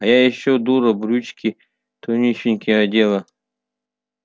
а я ещё дура брючки тонюсенькие одела